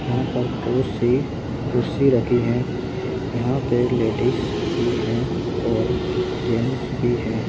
यहां पर बहुत सी कुर्सी रखी हैं यहां पे लेडीस भी हैं और जेंस भी हैं।